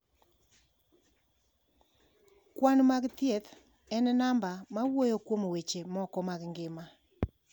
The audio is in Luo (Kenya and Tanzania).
Kwan mag thieth en namba ma wuoyo kuom weche moko mag ngima.